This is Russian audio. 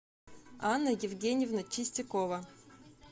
анна евгеньевна чистякова